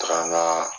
Taga n ga